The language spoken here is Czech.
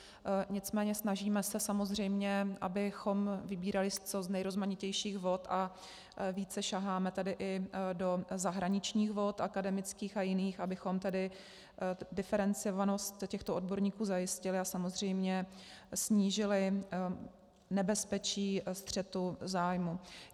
Nicméně snažíme se samozřejmě, abychom vybírali z co nejrozmanitějších vod, a více saháme tedy i do zahraničních vod akademických a jiných, abychom tedy diferencovanost těchto odborníků zajistili a samozřejmě snížili nebezpečí střetu zájmů.